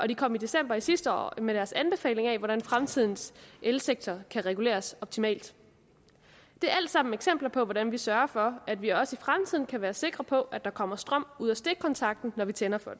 de kom i december sidste år med deres anbefalinger til hvordan fremtidens elsektor kan reguleres optimalt det er alt sammen eksempler på hvordan vi sørger for at vi også i fremtiden kan være sikre på at der kommer strøm ud af stikkontakten når vi tænder for